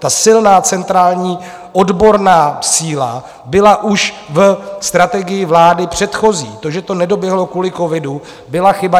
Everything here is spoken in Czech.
Ta silná centrální odborná síla byla už v strategii vlády předchozí, to, že to nedoběhlo kvůli covidu, byla chyba.